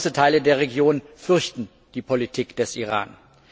Große Teile der Region fürchten die Politik des Iran.